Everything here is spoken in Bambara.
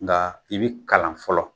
Nka i bi kalan fɔlɔ.